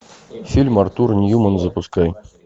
фильм артур ньюман запускай